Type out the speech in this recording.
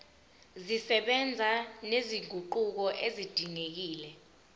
zisebenza nezinguquko ezidingekile